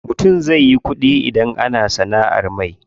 Mutum zai yi ƙuɗi idan yana sanaʼar mai.